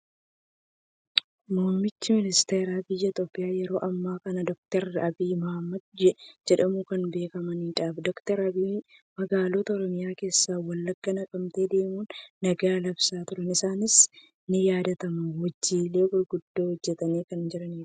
Muummichi ministeeraa biyya Itoophiyaa yeroo ammaa kanaa Dookter Abiyyi Ahmed jedhamuun kan beekamanidha. Dookter Abiyyi magaalota Oromiyaa keessaa Wallaggaa, Naqqamtee deemuun nagaa labsaa turuun isaanii ninyaadatam. Hojiilee gurguddoo hojjetanii kan jiranidha.